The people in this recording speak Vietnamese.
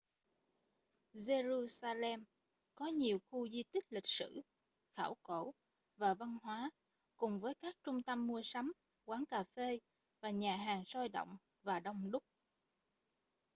giê-ru-xa-lem có nhiều khu di tích lịch sử khảo cổ và văn hóa cùng với các trung tâm mua sắm quán cà phê và nhà hàng sôi động và đông đúc